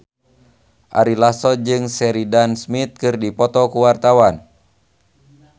Ari Lasso jeung Sheridan Smith keur dipoto ku wartawan